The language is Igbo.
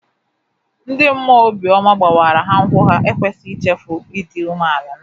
Ndị mmụọ obi ọma gbawara ha nkwụ ha ekwesịghị ichefu ịdị umeala n'obi.